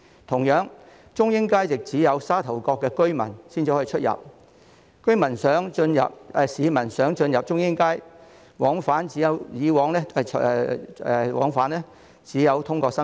同樣，中英街亦只有沙頭角居民才能進出；市民想進入中英街，往返只能通過深圳。